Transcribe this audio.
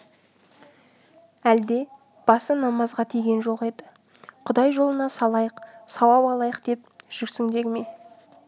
әлде басы намазға тиген жоқ еді құдай жолына салайық сауап алайық деп жүрсіңдер ме